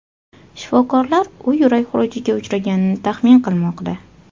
Shifokorlar u yurak xurujiga uchraganini taxmin qilmoqda.